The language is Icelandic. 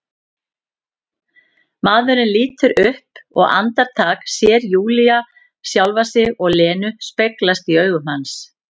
Maðurinn lítur upp og andartak sér Júlía sjálfa sig og Lenu speglast í augum hans.